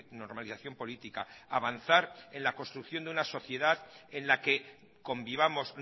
normalización política avanzar en la construcción de una sociedad en la que convivamos